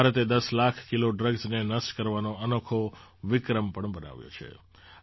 ભારતે ૧૦ લાખ કિલો ડ્રગ્સને નષ્ટ કરવાનો અનોખો વિક્રમ પણ બનાવ્યો છે